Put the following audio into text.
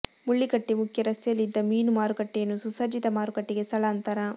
ಮುಳ್ಳಿಕಟ್ಟೆ ಮುಖ್ಯ ರಸ್ತೆಯಲ್ಲಿ ಇದ್ದ ಮೀನು ಮಾರುಕಟ್ಟೆಯನ್ನು ಸುಸಜ್ಜಿತ ಮಾರುಕಟ್ಟೆಗೆ ಸ್ಥಳಾಂತರ